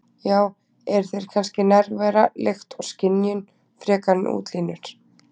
Já- eru þeir kannski nærvera, lykt og skynjun, frekar en útlínur?